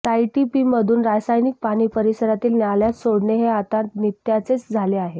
सीईटीपीमधून रासायनिक पाणी परिसरातील नाल्यात सोडणे हे आता नित्याचेच झाले आहे